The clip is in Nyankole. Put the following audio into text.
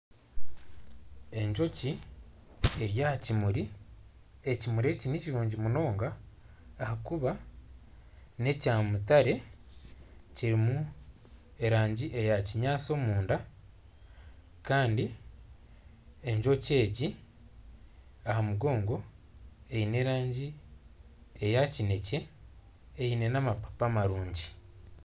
Enjoki eri aha kimuri ekimuri eki nikirungi munonga ahakuba n'ekya mutare kirimu erangi eya kinyaatsi omunda kandi enjoki egi aha mugongo eine erangi eya kinekye eine n'amapaapa marungi.